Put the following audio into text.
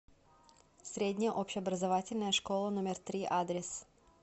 средняя общеобразовательная школа номер три адрес